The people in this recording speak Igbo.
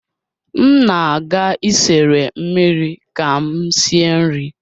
M na-aga isere mmiri ka m sie nri